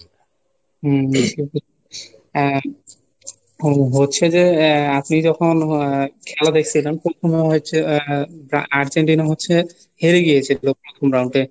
হম সেটাই আহ হ~ হচ্ছে যে আহ আপনি যখন আহ খেলা দেখছিলেন তখন হচ্ছেআহ আর্জেন্টিনা হচ্ছে হেরে গিয়েছে প্রথম round এ